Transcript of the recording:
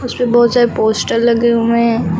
उसपे बहुत सारे पोस्टर लगे हुए हैं।